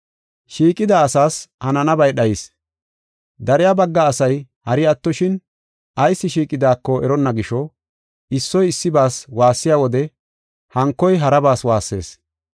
Shiiqida asaas hananabay dhayis; dariya bagga asay hari attoshin ayis shiiqidako eronna gisho, issoy issibas waassiya wode hankoy harabas waassees.